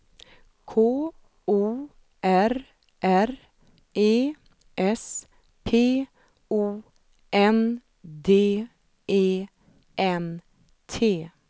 K O R R E S P O N D E N T